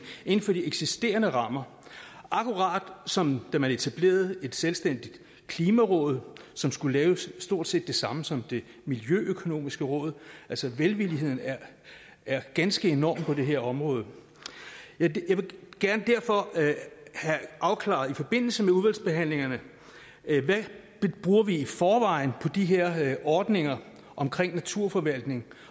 inden for de eksisterende rammer akkurat som da man etablerede et selvstændigt klimaråd som skulle lave stort set det samme som det miljøøkonomiske råd altså velviljen er er ganske enorm på det her område jeg vil derfor gerne have afklaret i forbindelse med udvalgsbehandlingen hvad vi i forvejen bruger på de her ordninger omkring naturforvaltning